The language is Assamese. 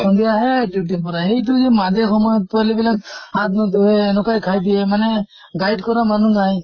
সন্ধিয়া হে duty ৰ পৰা আহে। সেইটো যে মাজে সময়ে পৱালী বিলাক হাত নুধুয়ে, এনকাই খাই দিয়ে মানে guide কৰা মানুহ নাই